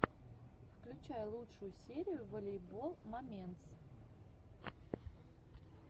включай лучшую серию волейбол моментс